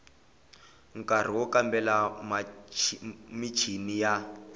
nkari wo kambela michini ya